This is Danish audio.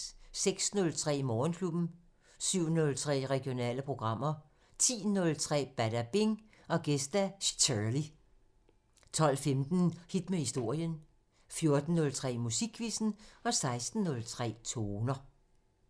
06:03: Morgenklubben 07:03: Regionale programmer 10:03: Badabing: Gæst Szhirley 12:15: Hit med historien 14:03: Musikquizzen 16:03: Toner